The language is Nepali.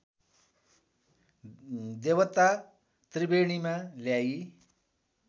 देवता त्रिवेणीमा ल्याई